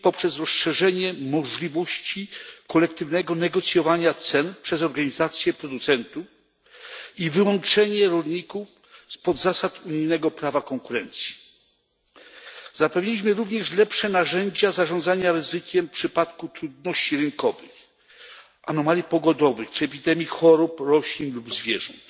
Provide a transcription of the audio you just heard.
dzięki rozszerzeniu możliwości kolektywnego negocjowania cen przez organizacje producentów i wyłączenie rolników spod zasad unijnego prawa konkurencji. Zapewniliśmy również lepsze narzędzia zarządzania ryzykiem w przypadku trudności rynkowych, anomalii pogodowych czy epidemii chorób roślin lub zwierząt.